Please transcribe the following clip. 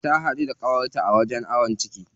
Ta haɗu da ƙawarta a wajen awon ciki.